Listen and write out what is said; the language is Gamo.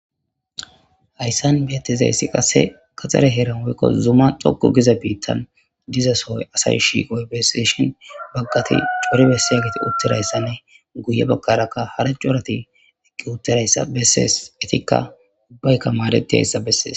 Haysan betizaysi qase gadhare heran woykon Zuma choko Giza bittan diza sohon asay shiqoysa beseseshin bagati cori besizatti utidaysa beseshin guye bagaraka hara corati eqi uttidaysa beses ubatika madetizaysa beses.